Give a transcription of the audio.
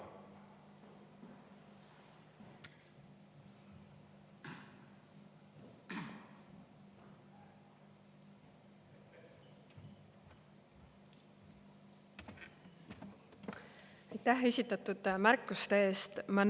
Aitäh esitatud märkuste eest!